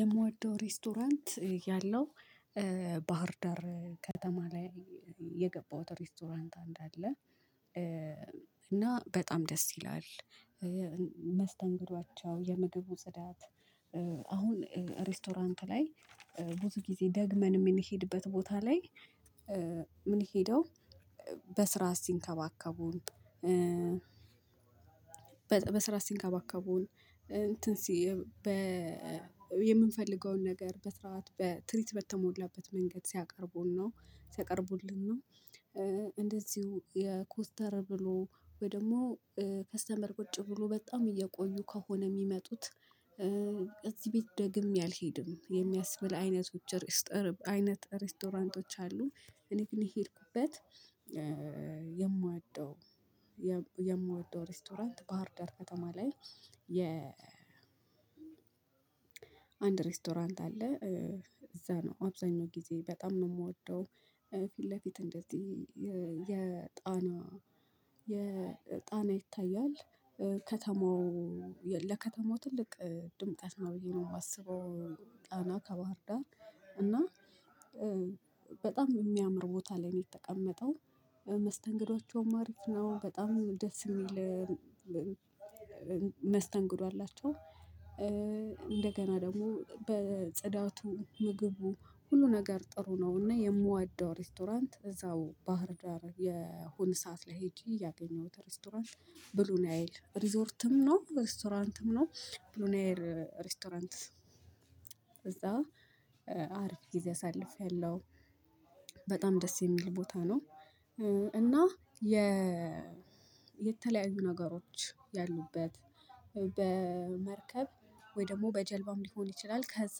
የምወደው ሬስቶራንት ያለው ባህርዳር ከተማ ላይ ሬስቶራንት አንድ አለ እና በጣም ደስ ይላል። የምግቡ ጽዳት አሁን ሬስቶራንት ላይ ብዙ ጊዜ ደግመን የምንሄድበት ቦታ ላይ ምን ሄደው በስርዓት ሲንከባከቡን። በስርዓት ሲንከባከቡን እንትን ሲ የምንፈልገውን ነገር በስርዓት በትሪት በተሞላበት መንገድ ሲያቀርቡን ነው ሲያቀርቡልን እና እንደዚሁ የ ኮስተር ብሎ ወይ ደግሞ ከስተመር ቁጭ ብሎ በጣም እየቆዩ ከሆነ የሚመጡት እዚህ ቤት ደግሜ አልሄድም የሚያስብል አይነቶች ሬስቶራንት አይነት ሬስቶራንቶች አሉ። እኔ ግን የሄድኩበት። የምወደው ሬስቶራንት ባህርዳር ከተማ ላይ የ አንድ ሬስቶራንት አለ እዛ ነው አብዛኛው ጊዜ በጣም ነው የምወደው ፊት ለፊት እንደዚህ የጣና የጣና ይታያል ከተማው ለከተማው ትልቅ ድምቀት ነው ብዬ ነው ማስበው። ጣና ከባህር ዳር እና በጣም የሚያምር ቦታ ላይ ነው የተቀመጠው መስተንግዷቸውም አሪፍ ነው በጣም ደስ የሚል መስተንግዶ አላቸው። እንደገና ደግሞ በጽዳቱ ምግቡ ሁሉ ነገር ጥሩ ነውና የምወደው ሬስቶራንት እዛው ባህር ዳር የሆነ ሰዓት ላይ ሄጄ ያገኘሁት ሬስቶራንት ብሉ ናይል ሪዞርትም ነው ሬስቶራንትም ነው ብሉ ናይል ኔሬስቶራንት እዛ አሪፍ ጊዜ አሳልፌያለሁ። በጣም ደስ የሚል ቦታ ነው እና የተለያዩ ነገሮች ያሉበት በመርከብ ወይ ደግሞ በጀልባም ሊሆን ከዛ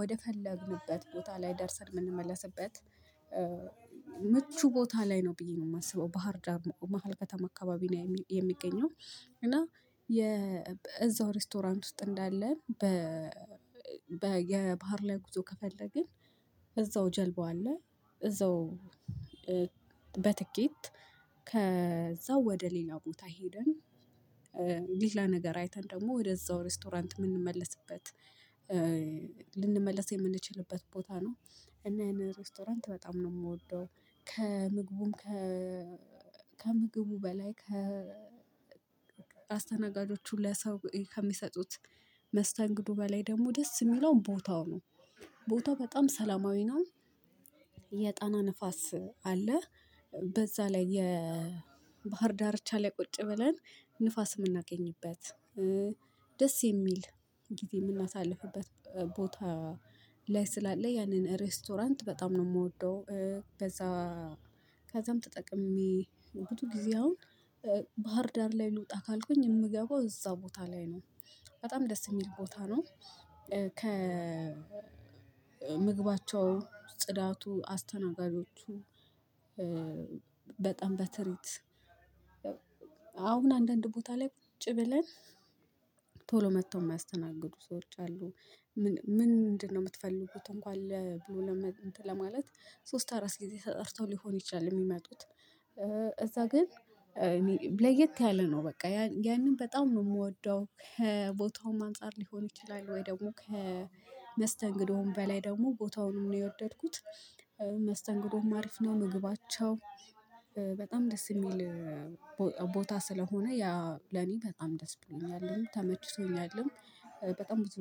ወደፈለግንበት ቦታ ላይ ደርሰን የምንመለስበት ምቹ ቦታ ላይ ነው ብዬ ነው የማስበው ባህርዳር መሃል ከተማ አካባቢ ነው የሚገኘው። እና የእዛው እዛው ሬስቶራንት ውስጥ እንዳለ በ የባህር ላይ ጉዞ ከፈለግን እዛው ጀልባው አለ እዛው በትኬት ከዛው ወደ ሌላ ቦታ ሄደን ሌላ ነገር አይተን ደግሞ ወደዛው ሬስቶራንት የምንመለስበት ልንመለስ የምንችልበት ቦታ ነው። እና ይሄንን ሬስቶራንት በጣም ነው የምወደው። ከምግቡም ከ ከምግቡ በላይ ከ አስተናጋጆቹ ለሰው ከሚሰጡት መስተንግዱ በላይ ደግሞ ደስ የሚለው ቦታው ነው ቦታው በጣም ሰላማዊ ነው። የጣና ንፋስ አለ በዛ ላይ የባህር ዳርቻ ላይ ቁጭ ብለን ንፋስ የምናገኝበት ደስ የሚል ጊዜ የምናሳልፍበት ቦታ ላይ ስላለ ያንን ሬስቶራንት በጣም ነው የምወደው። በዛ ከዛም ተጠቅሜ ብዙ ጊዜ አሁን ባህር ዳር ላይ ልውጣ ካልኩኝ የምገባው እዛ ቦታ ላይ ነው። በጣም ደስ የሚል ቦታ ነው። ከ ምግባቸው ፅዳቱ አስተናጋጆቹ በጣም በትሪት አሁን አንዳንድ ቦታ ላይ ቁጭ ብለን ቶሎ መጥተው የማያስተናግዱ ሰዎች አሉ። ምንድነው? የምትፈልጉት እንኳን ለማለት ሶስት አራት ጊዜ ተጠርተው ሊሆን ይችላል የሚመጡት እዛ ግን ለየት ያለ ነው በቃ ያንን በጣም ነው የምወደው ከቦታውም አንፃር ሊሆን ይችላል ወይ ደግሞ ከመስተንግዶውም በላይ ደግሞ ቦታውንም ነው የወደድኩት። መስተንግዶውም አሪፍ ነው ምግባቸው በጣም ደስ የሚል ቦታ ስለሆነ ያ ለኔ በጣም ደስ ብሎኛልም ተመችቶኛልም። በጣም ብዙ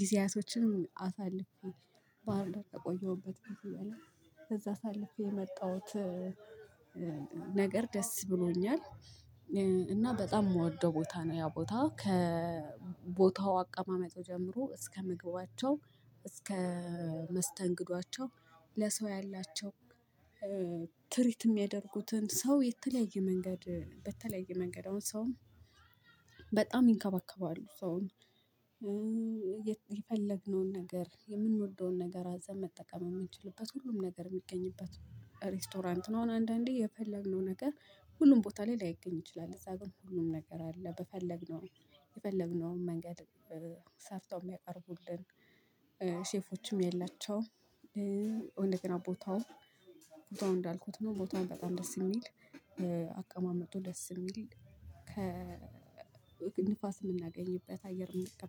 ጊዜያቶችንም አሳልፌ ባህር ዳር ከቆየሁበኝ በፊት እያለ ከዛ አሳልፌ የመጣሁት ነገር ደስ ብሎኛል። እና በጣም የምወደው ቦታ ነው ያ ቦታ ከቦታው አቀማመጡ ጀምሮ እስከ ምግባቸው እስከ መስተንግዶ ለሰው ያላቸው ትሪት የሚያደርጉትን ሰው የተለያየ መንገድ በተለየ መንገድ አሁን ሰውም በጣም ይንከባከባሉ ሰውን። የፈለግነውን ነገር የምንወደውን ነገር አዘን መጠቀም የምንችልበት ሁሉም ነገር የሚገኝበት ሬስቶራንት ነው። አንዳንዴ የፈለግነው ነገር ሁሉም ቦታ ላይ ላይገኝ ይችላል እዛ ግን ሁሉም ነገር አለ። በፈለግነው የፈለግነውን መንገድ ሰርተው የሚያቀርቡልን ሼፎችም ያላቸው እንደገና ቦታው ቦታው እንዳልኩት ነው ቦታውን በጣም ደስ የሚል አቀማመጡ ደስ የሚል ከንፋስ የምናገኝበት አየር ነው